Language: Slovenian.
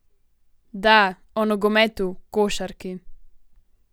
Da, o nogometu, košarki.